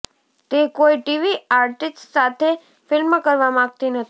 તે કોઈ TV artist સાથે ફિલ્મ કરવા માગતી નથી